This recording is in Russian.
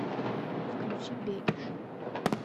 включи бегиш